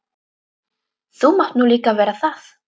Þú mátt nú líka vera það.